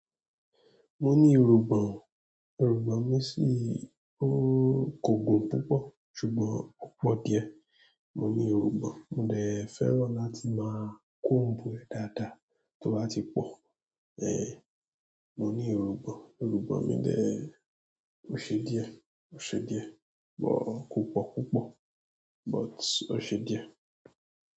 Mo ní irùngbọ̀n, irùngbọ̀n mi si o kò gùn púpọ̀ ṣùgbọ́n ó pọ díẹ̀. Mo ní irùngbọ̀n, mo dẹ̀ fẹ́ràn làti ma comb ẹ dada tó bá ti pọ. Eh! Mo ní irùngbọ̀n, irùngbọ̀n mi dẹ ò se díẹ̀, ó se díẹ̀ but kò pọ̀ púpọ̀ but ó se díẹ̀.